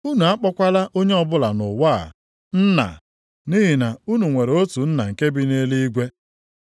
Unu akpọkwala onye ọbụla nʼụwa a ‘Nna,’ nʼihi na unu nwere otu Nna nke bi nʼeluigwe.